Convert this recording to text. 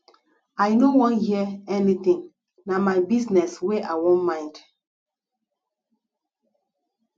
i no wan hear anything na my business wey i wan mind